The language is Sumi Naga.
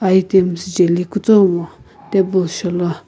items jeli kutomu table shou lo.